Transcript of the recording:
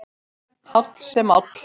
Háll sem áll.